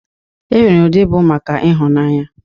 E nwere ụdị bụ maka ịhụnanya.